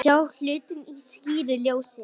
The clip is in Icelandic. Sjá hlutina í skýru ljósi.